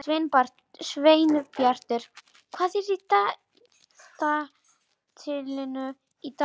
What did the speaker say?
Sveinbjartur, hvað er í dagatalinu í dag?